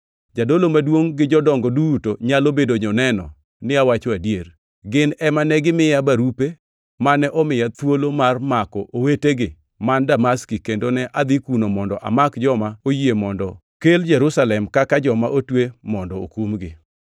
Jadolo maduongʼ gi jodongo duto nyalo bedo joneno ni awacho adier. Gin ema negimiya barupe mane omiya thuolo mar mako owetegi man Damaski, kendo ne adhi kuno mondo amak joma oyie mondo kel Jerusalem kaka joma otwe mondo okumgi.